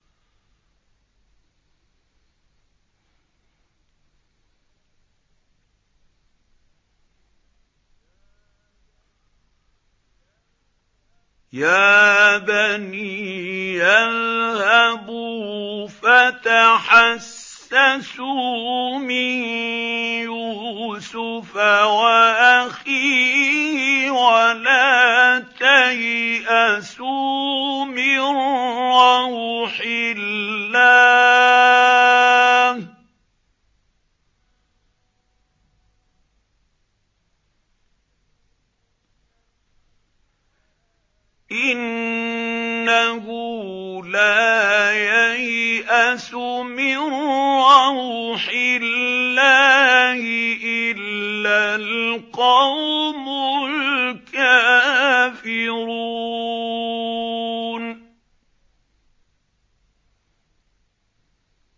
يَا بَنِيَّ اذْهَبُوا فَتَحَسَّسُوا مِن يُوسُفَ وَأَخِيهِ وَلَا تَيْأَسُوا مِن رَّوْحِ اللَّهِ ۖ إِنَّهُ لَا يَيْأَسُ مِن رَّوْحِ اللَّهِ إِلَّا الْقَوْمُ الْكَافِرُونَ